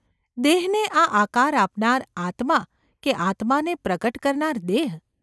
દેહને આ આકાર આપનાર આત્મા કે આત્માને પ્રગટ કરનાર દેહ?